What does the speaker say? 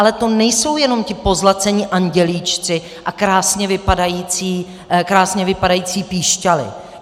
Ale to nejsou jenom ti pozlacení andělíčci a krásně vypadající píšťaly.